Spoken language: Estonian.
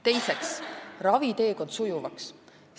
Teiseks, raviteekond sujuvaks.